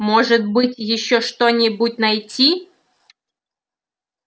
может быть ещё что-нибудь найти